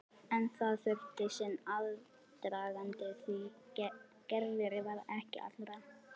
En það þurfti sinn aðdraganda því Gerður var ekki allra.